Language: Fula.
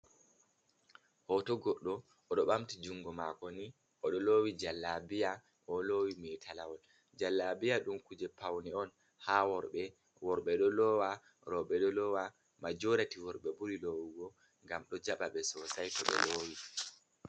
Hoto goɗɗo, oɗo ɓamti jungo mako ni, oɗo lowi jallabiya, o lowi metalawol, jallabiya ɗum kuje paune on ha worɓe ɗo lowa roɓe ɗo lowa. majorati worɓe ɓuri lowugo, ngam ɗo jaba ɓe sosai to ɓo lowi.